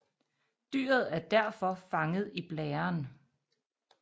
Dyret er derfor fanget i blæren